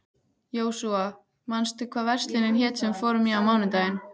Jósúa, manstu hvað verslunin hét sem við fórum í á mánudaginn?